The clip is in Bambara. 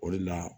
O de la